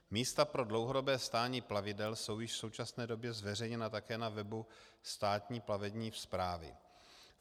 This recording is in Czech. Místa pro dlouhodobé stání plavidel jsou již v současné době zveřejněna také na webu Státní plavební správy.